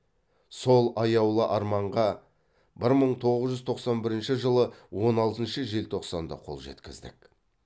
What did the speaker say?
сол аяулы арманға бір мың тоығыз жүз тоқсан бірінші жылы он алтыншы желтоқсанда қол жеткіздік